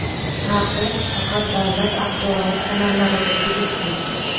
Taqiq faqat davlat axborot kanallariga tegishli.